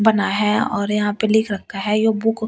बना है और यहां पे लिख रखा है यो बुक --